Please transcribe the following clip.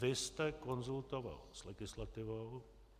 Vy jste konzultoval s legislativou.